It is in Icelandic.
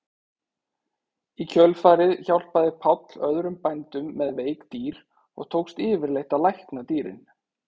Í kjölfarið hjálpaði Páll öðrum bændum með veik dýr og tókst yfirleitt að lækna dýrin.